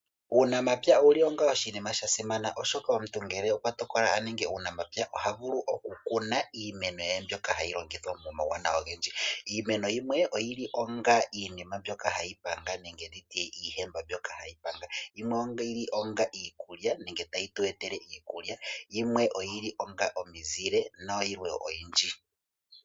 Uunamapya owasimana oshoka omuntu ngele okwatokola okuninga uunamapya ohavulu okukuna iimeno ndjoka hayi longithwa iinima oyindji. Iimeno yimwe oyili onga iihemba yokupanga nayimwe ohayi tupe iikulya nosho woo iimeno yimwe ohayi tupe omizile.